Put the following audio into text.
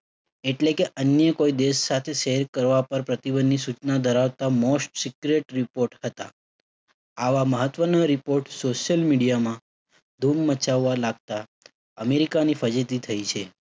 એટલે કે અન્ય કોઈ દેશ સાથે share કરવા પર પ્રતિબંધની સૂચના ધરાવતા most secret report હતા. આવા મહત્વના report social media માં ધૂમ મચાવવા લાગતા અમેરિકાની ફજેતી થઇ છે.